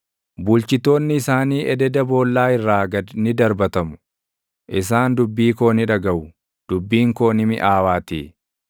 Bulchitoonni isaanii ededa boollaa irraa gad ni darbatamu; isaan dubbii koo ni dhagaʼu; dubbiin koo ni miʼaawaatii.